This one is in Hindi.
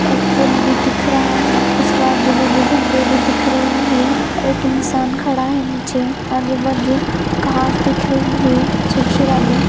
एक पुल भी दिख रहा है उसके आजु बाजू झंडा भी दिख रहे हैं एक इंसान खड़ा है नीचे आजु बाजु घास दिख रही है सूखी वाली।